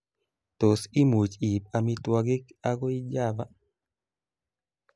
tos, imuch iib amitwangik agoi java